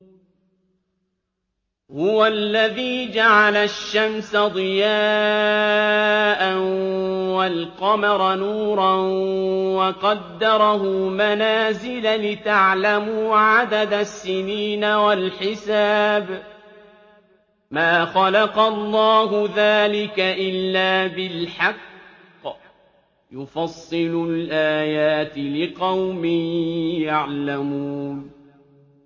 هُوَ الَّذِي جَعَلَ الشَّمْسَ ضِيَاءً وَالْقَمَرَ نُورًا وَقَدَّرَهُ مَنَازِلَ لِتَعْلَمُوا عَدَدَ السِّنِينَ وَالْحِسَابَ ۚ مَا خَلَقَ اللَّهُ ذَٰلِكَ إِلَّا بِالْحَقِّ ۚ يُفَصِّلُ الْآيَاتِ لِقَوْمٍ يَعْلَمُونَ